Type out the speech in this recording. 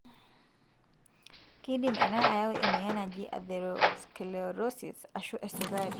kindim ena ayau emoyian naaji atherosclerosis ashu esukari.